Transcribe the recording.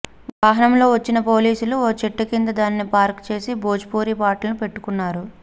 వాహనంలో వచ్చిన పోలీసులు ఓ చెట్టు కింద దానిని పార్క్ చేసి భోజ్పురి పాటలు పెట్టుకున్నారు